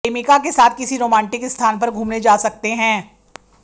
प्रेमिका के साथ किसी रोमांटिक स्थान पर घूमने जा सकते हैं